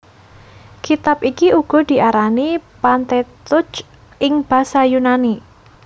Kitab iki uga diarani Pentateuch ing basa Yunani